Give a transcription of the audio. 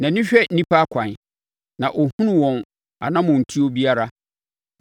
“Nʼani hwɛ nnipa akwan; na ɔhunu wɔn anammɔntuo biara.